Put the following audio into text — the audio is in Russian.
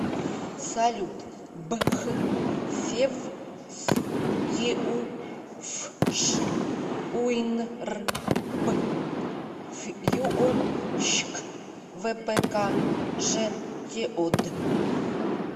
салют б х февс еуфш уйнрбфйюощк впкжтеод